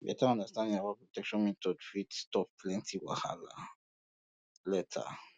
better understanding about protection methods fit stop plenty wahala later